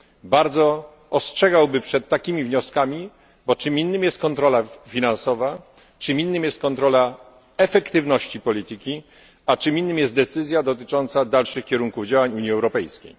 Bardzo ostrzegałbym przed takimi wnioskami, bo czym innym jest kontrola finansowa, czym innym jest kontrola efektywności polityki, a czym innym jest decyzja dotycząca dalszych kierunków działań Unii Europejskiej.